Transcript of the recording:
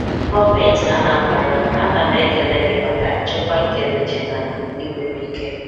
GỌỌMENTI ANAMBRA, Ana m ekele m ekele gị maka nchekwa nke Regina Igwebuike